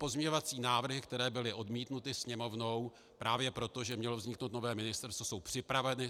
Pozměňovací návrhy, které byly odmítnuty Sněmovnou právě proto, že mělo vzniknout nové ministerstvo, jsou připraveny.